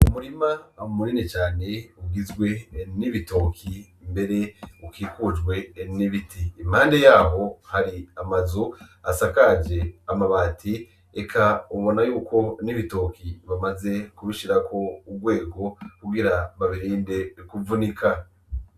Umurima munini cane ugizwe : n'ibitoki ,mbere ukikijwe n'ibiti. Impande yaho hari amazu asakaje amabati eka ubana yuko n'ibitoki bamaze kubishirako ugwego kugira babirinde kuvunika.